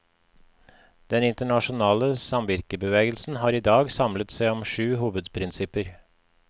Den internasjonale samvirkebevegelsen har i dag samlet seg om sju hovedprinsipper.